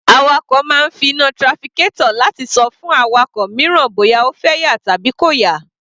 Awakọ̀ máa ń fi iná trafficator láti ṣọ fún awakọ̀ mìíràn bóyá ó fẹ́ yà tàbí kò yà.